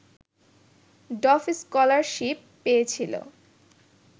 ডফ scholarship পেয়েছিলেন